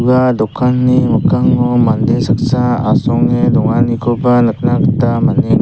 ua dokanni mikkango mande saksa asonge donganikoba nikna gita man·eng--